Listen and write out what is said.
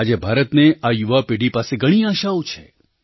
આજે ભારતને આ યુવા પેઢી પાસે ઘણી આશાઓ છે